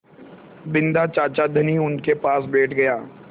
बिन्दा चाचा धनी उनके पास बैठ गया